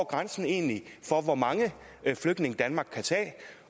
grænsen egentlig for hvor mange flygtninge danmark kan tage